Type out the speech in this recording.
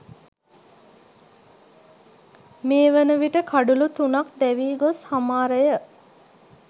මේ වනවිට කඩුලු තුනක් දැවී ගොස් හමාරය